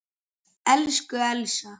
Elsku Elsa.